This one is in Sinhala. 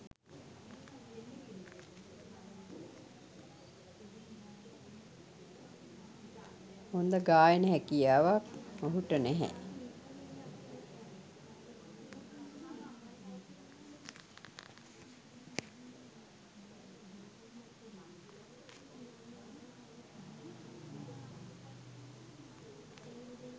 හොඳ ගායන හැකියාවක් ඔහුට නැහැ